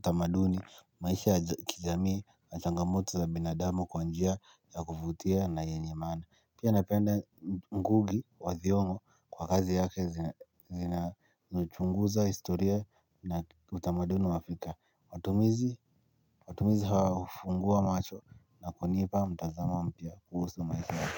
tamaduni maisha ya kijamii na changamoto za binadamu kwa njia ya kuvutia na yenye maana pia napenda ngugi wa thiongo kwa kazi yake zinazochunguza historia na utamaduni wa Afrika watumizi. Watumizi hawa hufungua macho na kunipa mtazamo mpya kuhusu maisha.